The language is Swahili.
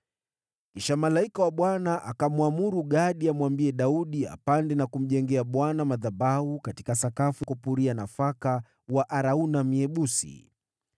Kisha malaika wa Bwana akamwamuru Gadi amwambie Daudi apande na kumjengea Bwana madhabahu kwenye sakafu ya kupuria nafaka ya Arauna Myebusi.